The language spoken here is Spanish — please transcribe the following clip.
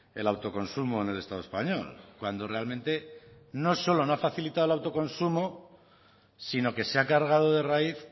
el autoconsumo en el estado español cuando realmente no solo no ha facilitado el autoconsumo sino que se ha cargado de raíz